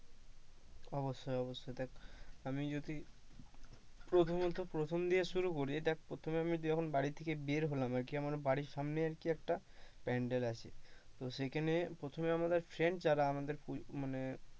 অবশ্যই অবশ্যই দেখ আমি যদি প্রথমত প্রথম দিয়ে শুরু করি দেখ প্রথম যখন বাড়ি থেকে বের হলাম আর কি আমার সামনে আর কি একটা প্যান্ডেল আছে তো সেখানে আমার যারা friend যারা,